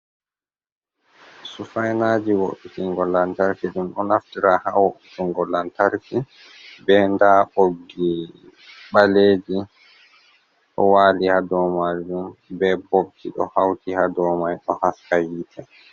Sufaina ji wo'itingo lantarki. Ɗum ɗo naftira haa wo'itingo lantarki. Be nda ɓoggi ɓaleji ɗo waali haa dow maajum, be bob ji ɗo hauti haa do mai ɗo haska hiite.